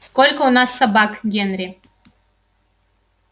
сколько у нас собак генри